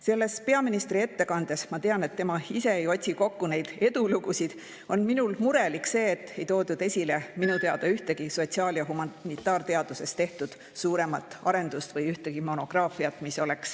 Selles peaministri ettekandes – ma tean, et tema ise ei otsi neid edulugusid – teeb mulle muret see, et ei toodud esile ühtegi sotsiaal- või humanitaarteaduses tehtud suuremat arendust ega ühtegi monograafiat.